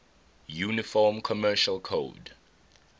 uniform commercial code